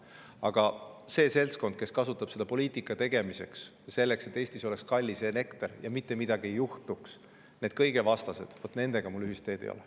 Aga selle seltskonnaga, kes kasutab seda poliitika tegemiseks ja selleks, et Eestis oleks kallis elekter ja mitte midagi ei juhtuks – vot nende kõigevastastega mul ühist teed ei ole.